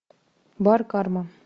бар карма